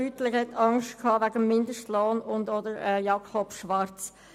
Beutler hat Angst wegen des Mindestlohns geäussert, ebenso Jakob Schwarz.